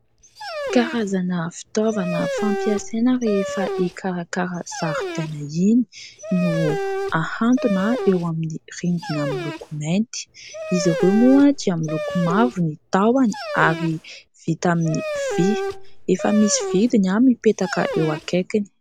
Karazana fitaovana fampiasaina rehefa hikarakara zaridaina iny no ahantona eo amin'ny rindr ina miloko mainty, izy ireo moa dia miloko mavo ny tahony ary vita amin'ny vy, efa misy vidiny mipetaka eo akaikiny.